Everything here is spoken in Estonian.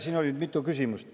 Siin oli mitu küsimust.